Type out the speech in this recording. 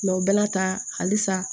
o bɛɛ la tan halisa